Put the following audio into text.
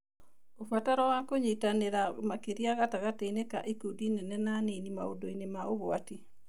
Ũbataro wa kũnyitanĩra makĩria gatagatĩ ka ikundi nene na nini maũndũ-inĩ ma ũgwati